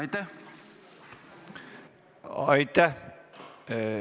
Aitäh!